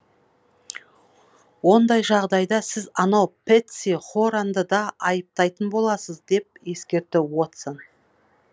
ондай жағдайда сіз анау пэтси хоранды да айыптайтын боласыз деп ескертті уотсон